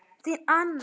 Þín Anna.